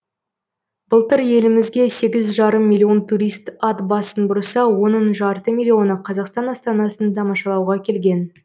былтыр елімізге сегіз жарым миллион турист ат басын бұрса оның жарты миллионы қазақстан астанасын тамашалауға келген